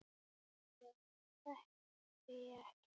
Sjálfa mig þekkti ég ekkert.